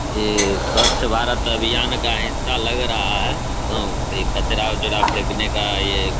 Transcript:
ये स्वच्छ भारत अभियान का हिस्सा लग रहा है और ये कचरा उचरा फेकने का ये --